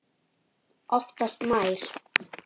Oftast nær